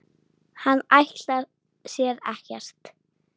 Hann ætlar sér ekkert.